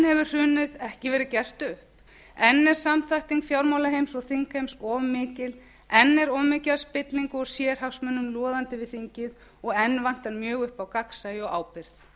hrunið ekki verið gert upp enn er samþætting fjármálaheims og þingheims of mikil enn er of mikið af spillingu og sérhagsmunum loðandi við þingið og enn vantar mjög upp á gagnsæi og ábyrgð